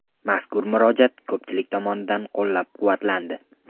Mazkur murojaat ko‘pchilik tomonidan qo‘llab-quvvatlandi.